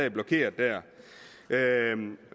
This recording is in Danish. og blokerer der